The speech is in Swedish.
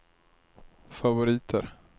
favoriter